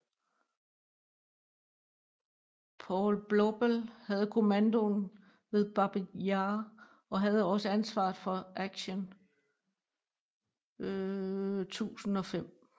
Paul Blobel havde kommandoen ved Babij Jar og havde også ansvaret for Aktion 1005